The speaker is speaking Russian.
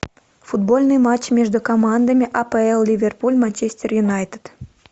футбольный матч между командами апл ливерпуль манчестер юнайтед